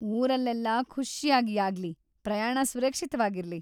ಊರಲ್ಲೆಲ್ಲ‌ ಖುಷ್ಯಾಗಿ ಆಗ್ಲಿ, ಪ್ರಯಾಣ ಸುರಕ್ಷಿತವಾಗಿರ್ಲಿ.